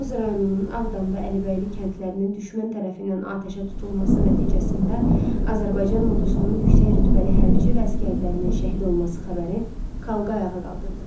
Tovuz rayonunun Ağdam və Əlibəyli kəndlərinin düşmən tərəfindən atəşə tutulması nəticəsində Azərbaycan ordusunun yüksək rütbəli hərbiçi və əsgərlərinin şəhid olması xəbəri xalqı ayağa qaldırdı.